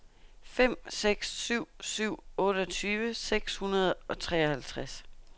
fem seks syv syv otteogtyve seks hundrede og treoghalvtreds